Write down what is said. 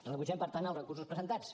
rebutgem per tant els recursos presentats